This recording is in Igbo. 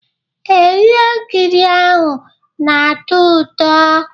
Ee, ihe nkiri ahụ na-atọ ụtọ